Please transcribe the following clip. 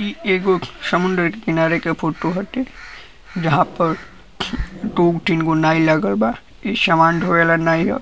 इ एगो समुद्र के किनारे के फोटो हटे जहां पर दू तीन गो नाइ लागल बा। इ सामान धोए वाला नाइ ह।